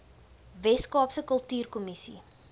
wes kaapse kultuurkommissie